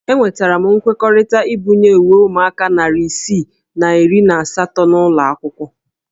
Enwetara m nkwekọrịta ibunye uwe ụmụaka narị isii na iri na asatọ n'ụlọ akwụkwọ